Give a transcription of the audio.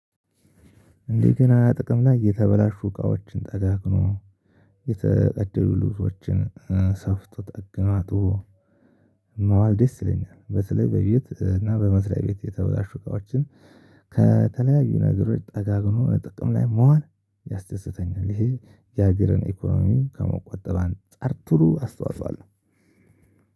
እንደገና ጥቅም ላይ የተበላሹ እቃዎችን ጠጋግኖ የተቀደዱ ልብሶችን ሰፍቶ ጠግኖ ማዋል ደስ ይለኛል። በተለይ በቤት እና በመስሪያ ቤት የተበላሹ እቃዎችን ከተለያዩ ነገሮች ጠጋግኖ እጥቅም ላይ ማዋል ያስደስተኛል። ይሄ የሀገርን ኢኮኖሚ ከመቆጠብ አንፃር ጥሩ አስተዋጽኦ አለው።